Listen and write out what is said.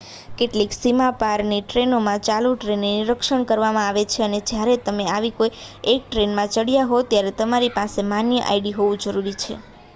કેટલીક સીમા પારની ટ્રેનોમાં ચાલુ ટ્રેને નિરક્ષણ કરવામાં આવે છે અને જ્યારે તમે આવી કોઈ એક ટ્રેનમાં ચડયા હોવ ત્યારે તમારી પાસે માન્ય આઈડી હોવું જરૂરી છે